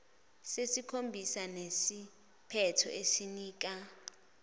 sesikhombisa sinesiphetho esinika